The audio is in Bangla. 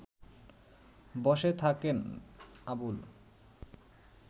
বসে থাকেন আবুল